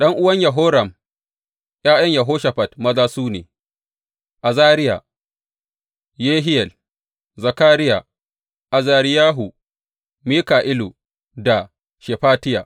’Yan’uwan Yehoram, ’ya’yan Yehoshafat maza su ne, Azariya, Yehiyel, Zakariya, Azariyahu, Mika’ilu da Shefatiya.